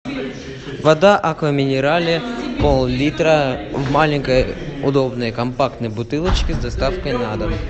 вода аква минерале пол литра в маленькой удобной компактной бутылочке с доставкой на дом